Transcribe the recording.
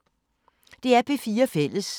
DR P4 Fælles